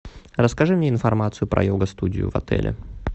расскажи мне информацию про йога студию в отеле